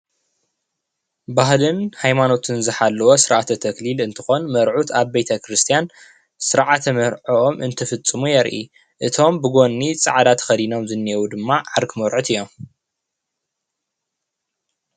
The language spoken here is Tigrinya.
ባህልን ሃይማኖትን ዝሓለወ ስርዓተ-ተክሊል እንትኾን መርዑት ኣብ ቤተ-ክርስትያን ስርዓተ መርዖም እንትፍፅሙ የርኢ፡፡ እቶም ብጎኒ ፃዕዳ ተኸዲኖም ዘኔው ድማ ዓርኪ መርዑት እዮም፡፡